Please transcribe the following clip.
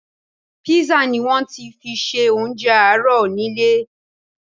Písà ni wọ́n fi ṣe oúnjẹ àárọ̀ ni ilé